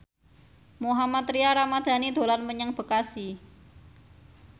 Mohammad Tria Ramadhani dolan menyang Bekasi